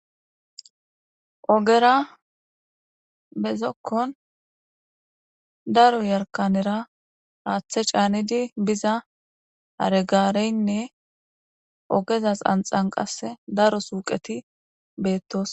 Ogera bezokkon daro yarkanera aaththe caanidi biza haregaareynne ogezas anxan qasse daro suuqeti beettos.